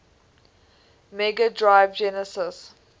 mega drive genesis